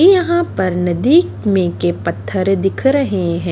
यहां पर नदी में के पत्थर दिख रहे हैं।